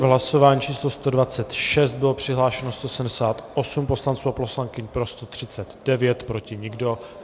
V hlasování číslo 126 bylo přihlášeno 178 poslanců a poslankyň, pro 139, proti nikdo.